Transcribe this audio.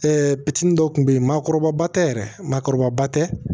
bitin dɔ tun bɛ yen maakɔrɔba tɛ yɛrɛ maakɔrɔba tɛ